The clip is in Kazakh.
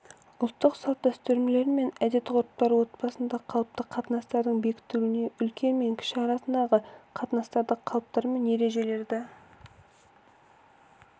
ұлттық салт-дәстүрлер мен әдет-ғұрыптар отбасында қалыпты қатынастардың бекітілуіне үлкен мен кіші арасындағы қатынастарды қалыптар мен ережелерді